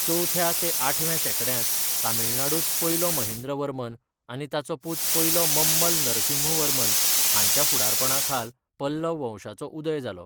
चवथ्या ते आठव्या शेंकड्यांत तमिळनाडूंत पयलो महेंद्रवर्मन आनी ताचो पूत पयलो ममल्ल नरसिंहवर्मन हांच्या फुडारपणाखाल पल्लव वंशाचो उदय जालो.